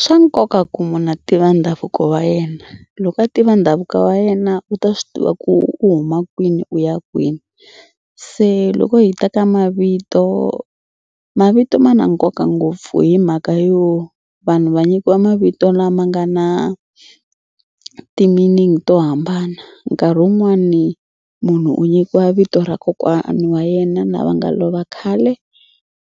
Swa nkoka ku munhu a tiva ndhavuko wa yena loko a tiva ndhavuko wa yena u ta swi tiva ku u huma kwini u ya kwini. Se loko hi ta ka mavito mavito ma na nkoka ngopfu hi mhaka yo vanhu va nyikiwa mavito lama nga na ti-meaning to hambana. Nkarhi wun'wani munhu u nyikiwa vito ra kokwana wa yena lava nga lova khale